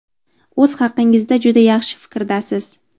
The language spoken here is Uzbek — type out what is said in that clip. o‘z haqingizda juda yaxshi fikrdasiz.